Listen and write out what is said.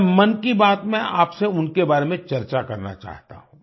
मैं मन की बात में आपसे उनके बारे में चर्चा करना चाहता हूँ